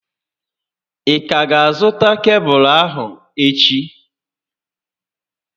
Ị ka ga azụta kebụlụ ahụ echi?